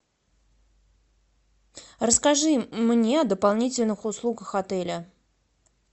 расскажи мне о дополнительных услугах отеля